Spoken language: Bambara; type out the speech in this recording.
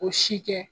O si kɛ